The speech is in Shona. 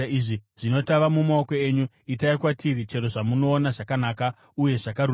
Zvino tava mumaoko enyu. Itai kwatiri chero zvamunoona zvakanaka uye zvakarurama.”